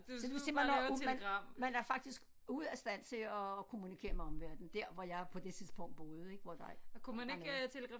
Så det vil sige man var ud man man er faktisk ude af stand til at kommunikere med omverdenen der var jeg på det tidspunkt boede ik hvor der ikke var nogen